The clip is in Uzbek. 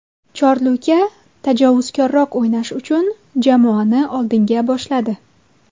Chorluka tajovuzkorroq o‘ynash uchun jamoani oldinga boshladi”.